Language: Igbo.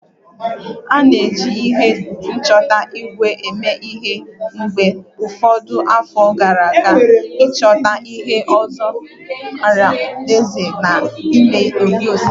A na-eji ihe nchọta ígwè eme ihe mgbe ụfọdụ afọ gara aga ịchọta ihe ọla zoro ezo na ime osisi